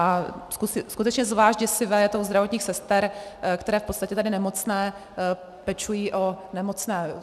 A skutečně zvlášť děsivé je to u zdravotních sester, které v podstatě tady nemocné pečují o nemocné.